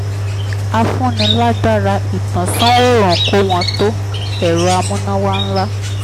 afúnilágbára-ìtànsán-òòrùn kò wọ́n tó ẹ̀rọ amúnáwá ńlá.